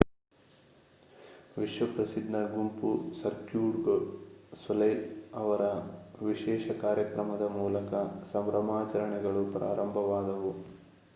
ವಿಶ್ವಪ್ರಸಿದ್ಧ ಗುಂಪು Cirque du Soleil ಅವರ ವಿಶೇಷ ಕಾರ್ಯಕ್ರಮದ ಮೂಲಕ ಸಂಭ್ರಮಾಚರಣೆಗಳು ಪ್ರಾರಂಭವಾದವು